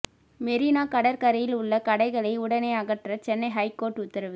மெரினா கடற்கரையில் உள்ள கடைகளை உடனே அகற்ற சென்னை ஹைகோர்ட் உத்தரவு